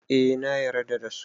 Eh nayar da dasu